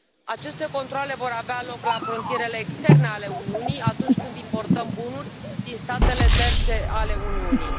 Aceste controale vor avea loc la frontierele externe ale Uniunii atunci când importăm bunuri din statele terțe ale Uniunii.